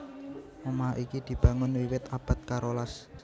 Omah iki dibangun wiwit abad karolas